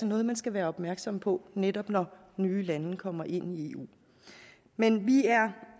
noget man skal være opmærksom på netop når nye lande kommer ind i eu men vi